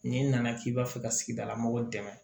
N'i nana k'i b'a fɛ ka sigidalamɔgɔ dɛmɛ